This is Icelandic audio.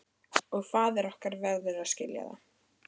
Og faðir okkar verður að skilja það.